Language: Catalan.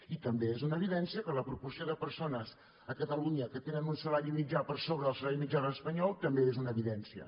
i també és una evidència que la proporció de persones a catalunya que tenen un salari mitjà per sobre del salari mitjà espanyol també és una evidència